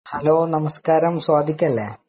Hello, നമസ്കാരം സ്വാദിഖ് അല്ലെ ?